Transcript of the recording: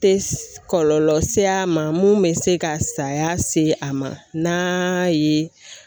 Tɛ kɔlɔlɔ se a ma mun bɛ se ka saya se a ma n'a ye.